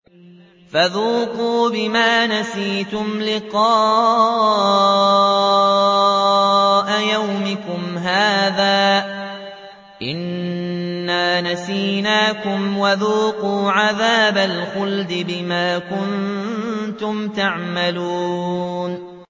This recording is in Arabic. فَذُوقُوا بِمَا نَسِيتُمْ لِقَاءَ يَوْمِكُمْ هَٰذَا إِنَّا نَسِينَاكُمْ ۖ وَذُوقُوا عَذَابَ الْخُلْدِ بِمَا كُنتُمْ تَعْمَلُونَ